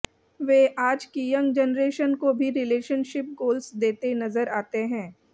वे आज की young generation को भी रिलेशनशिप गोल्स देते नजर आते हैं